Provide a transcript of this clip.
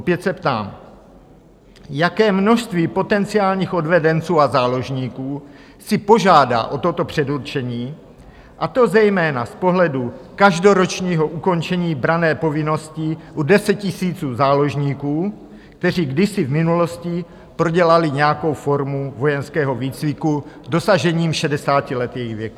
Opět se ptám: Jaké množství potenciálních odvedenců a záložníků si požádá o toto předurčení, a to zejména z pohledu každoročního ukončení branné povinnosti u desetitisíců záložníků, kteří kdysi v minulosti prodělali nějakou formu vojenského výcviku, dosažením 60 let jejich věku?